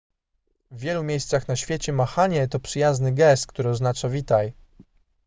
w wielu miejscach na świecie machanie to przyjazny gest który oznacza witaj